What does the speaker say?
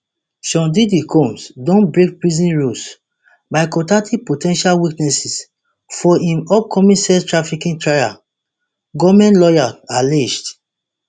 sean diddy combs don break prison rules by contacting po ten tial witnesses for im upcoming sex trafficking trial goment lawyers allege